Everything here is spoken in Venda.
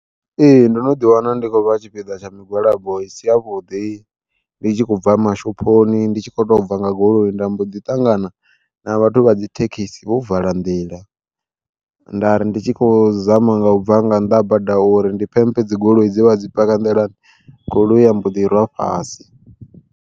Ee ndono ḓi wana ndi khou vha tshipiḓa tsha migwalabo i si ya vhuḓi, ndi tshi khou bva mashophoni ndi tshi kho to bva nga goloi nda mbo ḓi tangana na vhathu vha dzi thekhisi vho vala nḓila. Nda ri ndi tshi khou zama nga ubva nga nnḓa ha bada uri ndi phempe dzigoloi dze vha vho dzi paka nḓilani goloi ya mbo ḓi rwa fhasi.